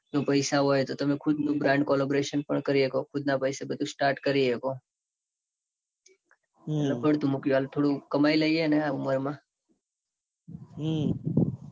પૈસા હોય તો. તમે ખુદ ની brand collabration પણ કરી શકો. ખુદ ના પૈસે બધું start કરી શકો. એટલે પડતું મૂક્યું હાલ થોડું કમાઈ લઈએ ને. આમ હમ